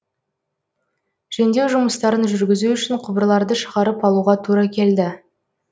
жөндеу жұмыстарын жүргізу үшін құбырларды шығарып алуға тура келді